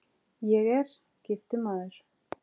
Ég er: giftur maður.